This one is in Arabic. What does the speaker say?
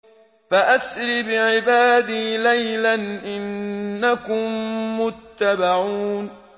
فَأَسْرِ بِعِبَادِي لَيْلًا إِنَّكُم مُّتَّبَعُونَ